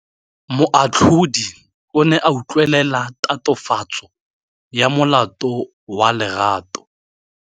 Moatlhodi o ne a utlwelela tatofatsô ya molato wa Lerato.